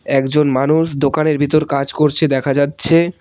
একজন মানুষ দোকানের ভিতর কাজ করছে দেখা যাচ্ছে।